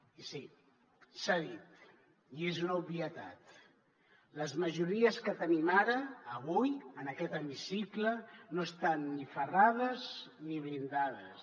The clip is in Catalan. i sí s’ha dit i és una obvietat les majories que tenim ara avui en aquest hemicicle no estan ni ferrades ni blindades